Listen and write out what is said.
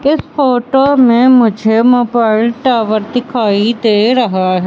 इस फोटो में मुझे मोबाइल टॉवर दिखाई दे रहा--